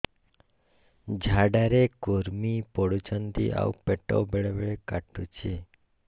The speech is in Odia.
ଝାଡା ରେ କୁର୍ମି ପଡୁଛନ୍ତି ଆଉ ପେଟ ବେଳେ ବେଳେ କାଟୁଛି